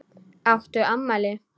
Áttu afmæli?